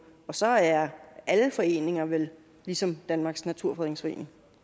og så er alle foreninger vel ligesom danmarks naturfredningsforening